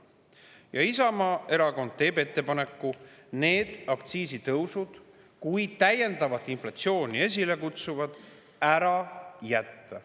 Isamaa Erakond teeb ettepaneku need täiendavat inflatsiooni esile kutsuvad aktsiisitõusud ära jätta.